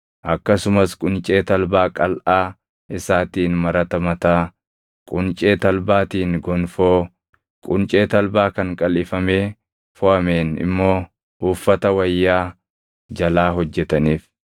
akkasumas quncee talbaa qalʼaa isaatiin marata mataa, quncee talbaatiin gonfoo, quncee talbaa kan qalʼifamee foʼameen immoo uffata wayyaa jalaa hojjetaniif.